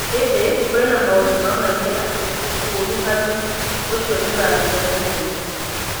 Ĩndĩ, kũrĩ na maũndũ maronania atĩ ũkuruhanu ũcio nĩ ũrathira na ihenya.